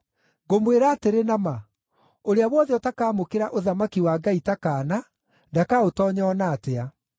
Ngũmwĩra atĩrĩ na ma, ũrĩa wothe ũtakamũkĩra ũthamaki wa Ngai ta kaana ndakaũtoonya o na atĩa.”